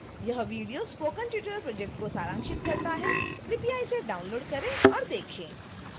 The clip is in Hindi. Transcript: यह वीडियो स्पोकन ट्यूटोरियल प्रोजेक्ट को सारांशित करता है कृपया इसे डाउनलोड करें और देखें